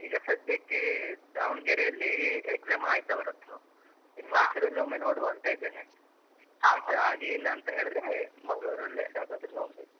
ಈಗ ಸಧ್ಯಕ್ಕೆ ದಾವಣಗೆರೆಯಲ್ಲಿ exam ಆಯ್ತ್ ಅವರದ್ದು ಇನ್ನು ಮೈಸೂರಲ್ಲೊಮ್ಮೆ ನೋಡುವ ಅಂತ ಇದ್ದೇನೆ. ಮತ್ತೆ ಆಗ್ಲಿಲ್ಲ ಅಂತ ಹೇಳಿದ್ರೆ ಮಂಗಳೂರಲ್ಲೆ ಯಾವದಾದ್ರು ನೋಡ್ಬೇಕು.